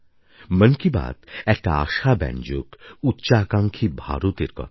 মন কি বাত একটা আশাব্যঞ্জক উচ্চাকাঙ্ক্ষী ভারতের কথা